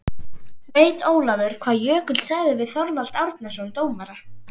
Veit Ólafur hvað Jökull sagði við Þorvald Árnason dómara?